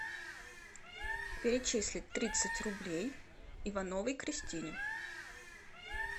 перечислить тридцать рублей ивановой кристине